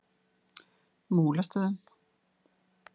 Múlastöðum